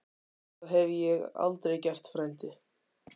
Það hef ég aldrei gert, frændi